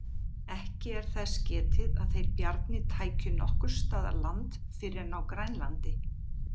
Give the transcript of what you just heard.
Ekki er þess getið að þeir Bjarni tækju nokkurs staðar land fyrr en á Grænlandi.